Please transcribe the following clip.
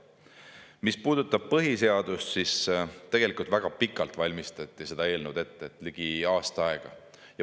Mis puudutab põhiseadust, siis seda eelnõu valmistati ette väga pikalt, ligi aasta aega.